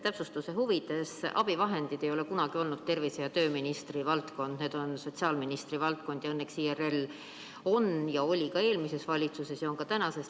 Täpsustuse huvides: abivahendid ei ole kunagi olnud tervise- ja tööministri valdkond, need on sotsiaalministri valdkond ning õnneks IRL oli eelmises valitsuses ja on ka tänases.